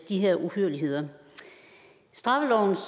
de her uhyrligheder straffelovens